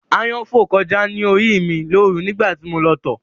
Ááyán fò kọjá ní orí ì mi lóru nígbà tí mo lọ tọ̀